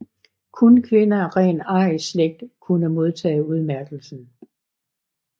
Kun kvinder af ren arisk slægt kunne modtage udmærkelsen